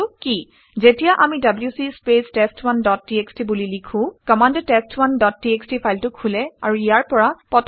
যেতিয়া আমি W C space test one dot TXT বুলি লিখোঁ কমাণ্ডে টেষ্ট1 ডট টিএক্সটি ফাইলটো খোলে আৰু ইয়াৰ পৰা পঠন কৰে